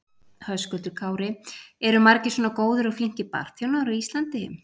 Höskuldur Kári: Eru margir svona góðir og flinkir barþjónar á Íslandi?